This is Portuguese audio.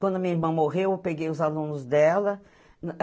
Quando minha irmã morreu, eu peguei os alunos dela.